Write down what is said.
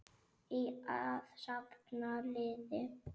Að safna liði!